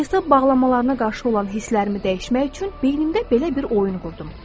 Hesab bağlamalarına qarşı olan hisslərimi dəyişmək üçün beynimdə belə bir oyun qurdum.